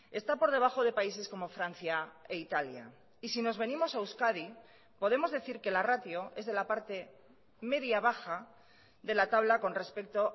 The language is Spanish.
está por debajo de países como francia e italia y si nos venimos a euskadi podemos decir que la ratio es de la parte media baja de la tabla con respecto